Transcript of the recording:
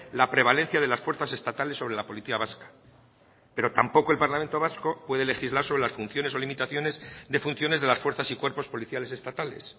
la prevalencia de las fuerzas estatales sobre la policía vasca pero tampoco el parlamento vasco puede legislar sobre las funciones o limitaciones de funciones de las fuerzas y cuerpos policiales estatales